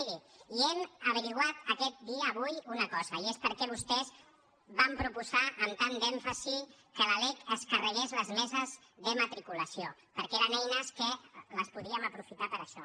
miri hem esbrinat aquest dia avui una cosa i és per què vostès van proposar amb tant d’èmfasi que la lec es carregués les meses de matriculació perquè eren eines que les podíem aprofitar per a això